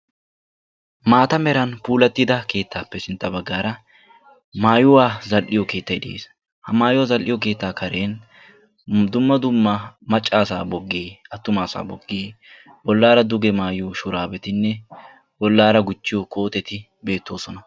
Maata meran puulattida keettaappe sintta baggaara maayuwa zall"iyo keettayi de'es. Ha maayuwa keettaa Karen dumma dumma macca asaa boggee attuma asaa boggee bollaara duge maayiyo shuraabetinne bollaara gujjiyo kooteti beettoosona.